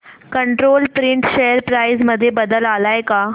control print share price मध्ये बदल आलाय का